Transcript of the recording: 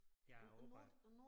Ja opad